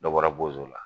Dɔ bɔra la